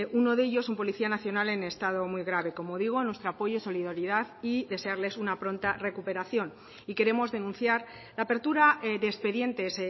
uno de ellos un policía nacional en estado muy grave como digo nuestro apoyo solidaridad y desearles una pronta recuperación y queremos denunciar la apertura de expedientes